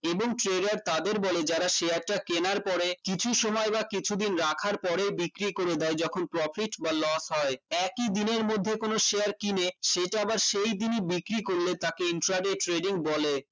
এবং career তাদের বলে যারা share টা কেনার পরে কিছু সময় বা কিছু দিন রাখার পরে বিক্রি করে দেয় যখন profit বা loss হয় একই দিনের মধ্যে কোন share কিনেই সেইটা আবার সেই দিনই বিক্রি করল তাকে intraday trading বলে